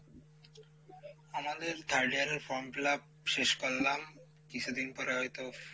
আমাদের third year এর form fill up শেষ করলাম কিছুদিন পরে হয়তো,